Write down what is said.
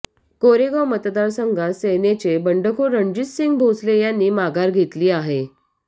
कोरेगाव मतदार संघात सेनेचे बंडखोर रणजितसिंह भोसले यांनी माघार घेतली आहे